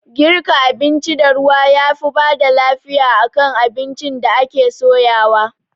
Girka abinci da ruwa yafi bada lafiya akan abincin da ake soyawa